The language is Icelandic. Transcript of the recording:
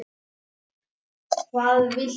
Þar segir að hið